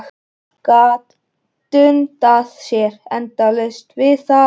Gat dundað sér endalaust við það.